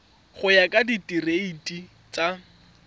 go ya ka direiti tsa